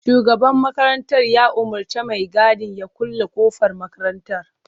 Shugaban makarantar ya umurci mai gadin ya kulle kofar makarantar.